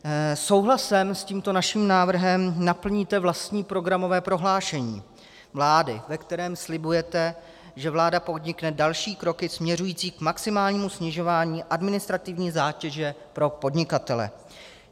Souhlasem s tímto naším návrhem naplníte vlastní programové prohlášení vlády, ve kterém slibujete, že vláda podnikne další kroky směřující k maximálnímu snižování administrativní zátěže pro podnikatele.